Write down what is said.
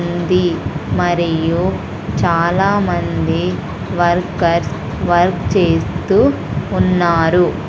ఉంది మరియు చాలామంది వర్కర్స్ వర్క్ చేస్తూ ఉన్నారు.